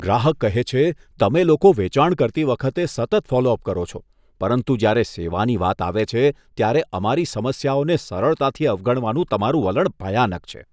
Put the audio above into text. ગ્રાહક કહે છે, તમે લોકો વેચાણ કરતી વખતે સતત ફોલો અપ કરો છો પરંતુ જ્યારે સેવાની વાત આવે છે, ત્યારે અમારી સમસ્યાઓને સરળતાથી અવગણવાનું તમારું વલણ ભયાનક છે.